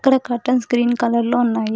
ఇక్కడ curtain screen కలర్లో ఉన్నాయి.